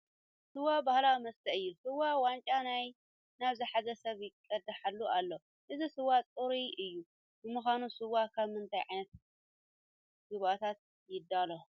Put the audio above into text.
ስዋ ባህላዊ መስተ እዩ፡፡ ስዋ ዋንጫ ናብ ዝሓዘ ሰብ ይቕድሐሉ ኣሎ፡፡ እዚ ስዋ ፅራይ እዩ፡፡ ንምዃኑ ስዋ ካብ ምንታይ ዓይነት ግብኣታት ይዳሎ?